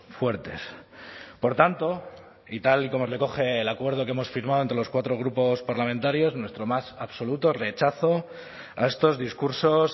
fuertes por tanto y tal y como recoge el acuerdo que hemos firmado entre los cuatro grupos parlamentarios nuestro más absoluto rechazo a estos discursos